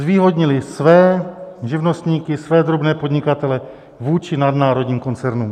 Zvýhodnili své živnostníky, své drobné podnikatele vůči nadnárodním koncernům.